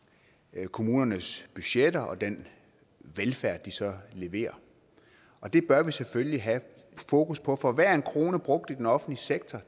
kommunernes budgetter og den velfærd de så leverer og det bør vi selvfølgelig have fokus på for hver en krone brugt i den offentlige sektor